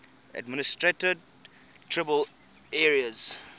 administered tribal areas